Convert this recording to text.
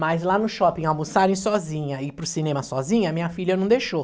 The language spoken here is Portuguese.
Mas lá no shopping, almoçarem sozinha, ir para o cinema sozinha, minha filha não deixou.